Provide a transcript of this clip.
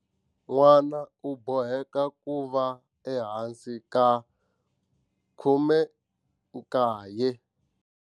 N'wana u boheka ku va ehansi ka 18.